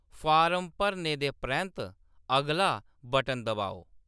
Form भरने दे परैंत्त 'अगला' बटन दबाओ।